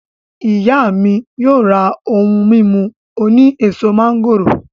Iya mi yoo ra ohun mimu oni eso mangoro.